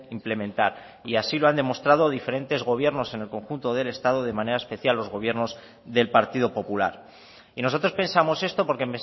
implementar y así lo han demostrado diferentes gobiernos en el conjunto del estado de manera especial los gobiernos del partido popular y nosotros pensamos esto porque